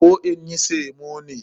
Koh in yi samo ne?